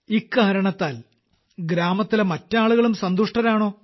ഇക്കാരണത്താൽ ഗ്രാമത്തിലെ മറ്റാളുകളും സന്തുഷ്ടരാണോ